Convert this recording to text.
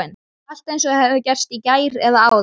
Allt eins og það hefði gerst í gær, eða áðan.